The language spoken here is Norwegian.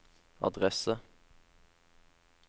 adresse